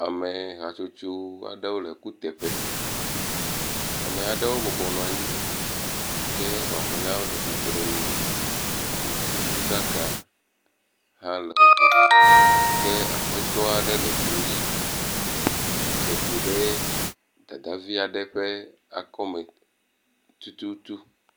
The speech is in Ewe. Ame hatsotso aɖewo le kuteƒe. Ame aɖewo bɔbɔnɔ anyi ke mamleawo le tsitrenu. Amekukuɖaka hã le woƒe ke aƒetɔ aɖe le klo dzi dze klo ɖe dadavi aɖe ƒe akɔme tututu.